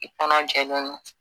I kɔnɔ jɛlen don.